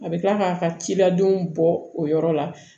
A bɛ tila k'a ka ciladenw bɔ o yɔrɔ la